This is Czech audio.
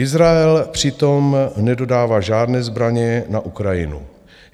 Izrael přitom nedodává žádné zbraně na Ukrajinu.